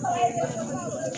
Maaunɛ